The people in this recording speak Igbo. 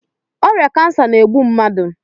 Ọrịa kansa na-egbu mmadụ.